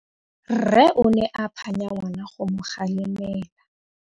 Rre o ne a phanya ngwana go mo galemela.